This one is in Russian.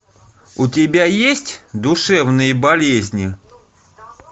у тебя есть душевные болезни